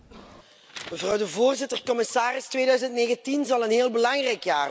Mevrouw de voorzitter, commissaris, 2019 zal een heel belangrijk jaar worden.